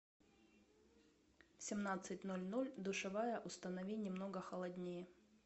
в семнадцать ноль ноль душевая установи немного холоднее